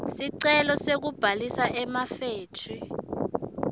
sicelo sekubhalisa emafethri